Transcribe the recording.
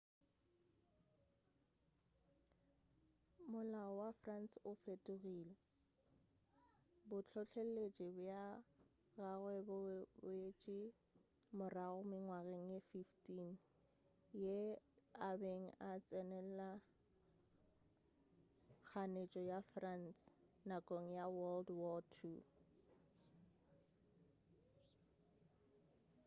molao wa france o fetogile bohlohleletši bja gagwe bo boetše morago mengwageng ye 15 ge a be a tsenela kganetšo ya france nakong ya world war ii